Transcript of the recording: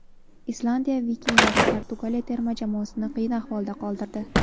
Islandiya vikinglari Portugaliya terma jamoasini qiyin ahvolda qoldirdi.